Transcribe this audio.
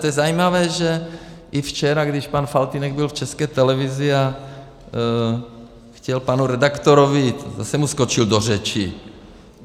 To je zajímavé, že i včera, když pan Faltýnek byl v České televizi a chtěl panu redaktorovi, zase mu skočil do řeči.